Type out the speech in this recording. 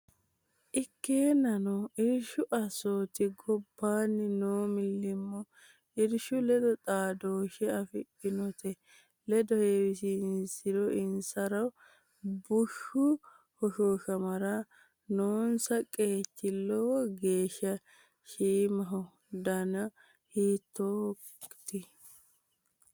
Ikkeennano, irshu assooti gob baanni noo millimmo irshu ledo xaadooshshe afidhinnote ledo heewisi insiro bushshu hoshooshamara noonsa qeechi lowo geeshsha shiimaho, dani hiikkonneeti?